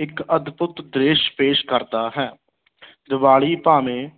ਇੱਕ ਅਦਭੁੱਤ ਦ੍ਰਿਸ਼ ਪੇਸ਼ ਕਰਦਾ ਹੈ ਦੀਵਾਲੀ ਭਾਵੇਂ